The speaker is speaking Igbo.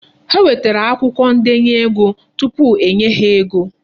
Ha nwetere akwụkwọ ndenye ego tupu e nye ha ego.